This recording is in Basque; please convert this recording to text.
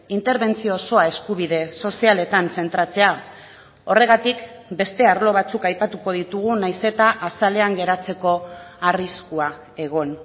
interbentzio osoa eskubide sozialetan zentratzea horregatik beste arlo batzuk aipatuko ditugu nahiz eta azalean geratzeko arriskua egon